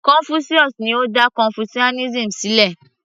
Confucius ni ó dá confucianism sílẹ̀